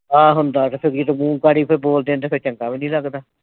ਆਹ ਹੁੰਦਾ ਕਿਤੇ . ਬੋਲ ਦਿੰਦੇ ਫਿਰ ਚੰਗਾ ਵੀ ਨਹੀ ਲਗਦਾ।